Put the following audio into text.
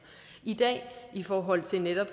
i dag i forhold til netop